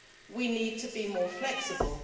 We need to be more flexible.